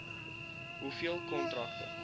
hoeveel kontrakte